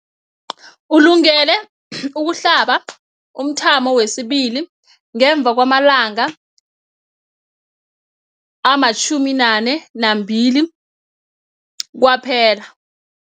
Ulungele ukuhlaba umthamo wesibili ngemva kwama-42 wamalanga kwaphela.